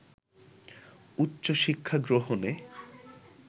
উচ্চশিক্ষা গ্রহণে